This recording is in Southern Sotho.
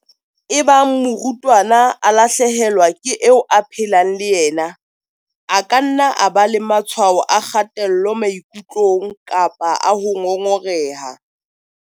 Ebang morutwana a lahle helwa ke eo a phelang le yena, a ka nna a ba le matshwao a kgatello maikutlong kapa a ho ngongoreha.